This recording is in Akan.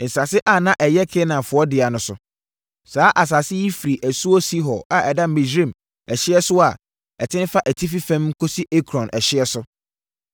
“nsase a na ɛyɛ Kanaanfoɔ dea no so. Saa asase yi firi asuo Sihor a ɛda Misraim ɛhyeɛ so a ɛtene fa atifi fam kɔsi Ekron ɛhyeɛ so,